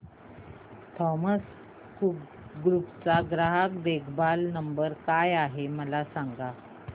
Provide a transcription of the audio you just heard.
Thomas Cook group चा ग्राहक देखभाल नंबर काय आहे मला सांगा